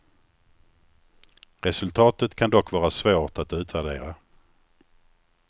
Resultatet kan dock vara svårt att utvärdera.